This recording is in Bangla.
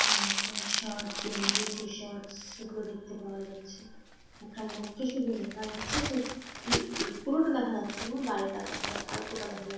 আহ ফুল শার্ট গেঞ্জিটি শার্টস - এগুলো দেখতে পাওয়া যাচ্ছে একটা লোক কে শুধু দেখা যাচ্ছে । সে পু পুরোটা দেখা যাচ্ছে না বাইরেটা দেখা অল্পটা দেখা যা --